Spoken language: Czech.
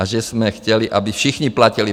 A že jsme chtěli, aby všichni platili.